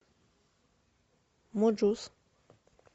муджус